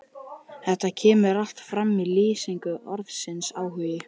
Þetta kemur allt fram í lýsingu orðsins áhugi